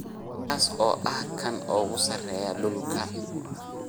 kaas oo ah kan ugu sarreeya dhulka